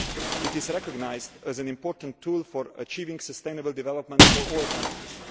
It is recognised as an important tool for achieving sustainable development for all countries.